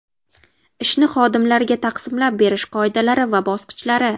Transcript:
Ishni xodimlarga taqsimlab berish qoidalari va bosqichlari.